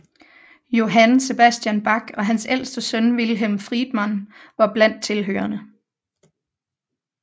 Johann Sebastian Bach og hans ældste søn Wilhelm Friedemann var blandt tilhørerne